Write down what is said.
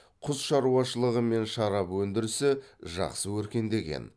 құс шаруашылығы мен шарап өндірісі жақсы өркендеген